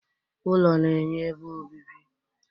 ỤLỌ na-enye ebe obibi